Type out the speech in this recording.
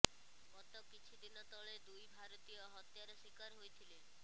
ଗତ କିଛି ଦିନ ତଳେ ଦୁଇ ଭାରତୀୟ ହତ୍ୟାର ଶିକାର ହୋଇଥିଲେ